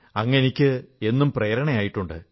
അങ്ങ് എനിക്ക് എന്നും പ്രേരണയേകിയിട്ടുണ്ട്